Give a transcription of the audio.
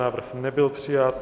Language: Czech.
Návrh nebyl přijat.